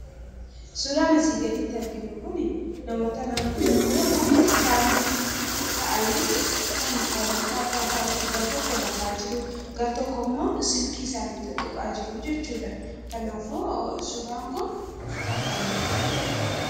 Suuraan asiin gaditti arginu Kun namoota naannoo tokkoo ta'anidha. Karaa tokkoon nama rafaa jiru karaa biraan immoo nama bilbila xuxxuqaa jiru argina.